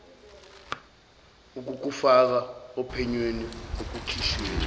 ukukufaka ophenyweni ekushushisweni